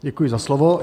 Děkuji za slovo.